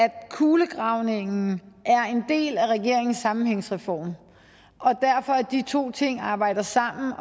kulegravningen er en del af regeringens sammenhængsreform og at de to ting arbejder sammen